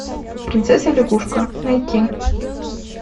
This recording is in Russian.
принцесса лягушка найти